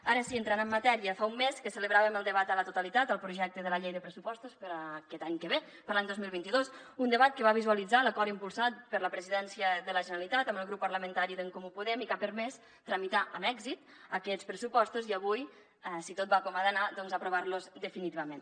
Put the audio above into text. ara sí entrant en matèria fa un mes que celebràvem el debat a la totalitat del projecte de la llei de pressupostos per a aquest any que ve per a l’any dos mil vint dos un debat que va visualitzar l’acord impulsat per la presidència de la generalitat amb el grup parlamentari d’en comú podem i que ha permès tramitar amb èxit aquests pressupostos i avui si tot va com ha d’anar doncs aprovar los definitivament